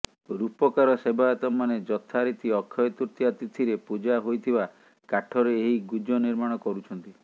ରୂପକାର ସେବାୟତମାନେ ଯଥାରୀତି ଅକ୍ଷୟ ତୃତୀୟା ତିଥିରେ ପୂଜା ହୋଇଥିବା କାଠରେ ଏହି ଗୁଜ ନିର୍ମାଣ କରୁଛନ୍ତି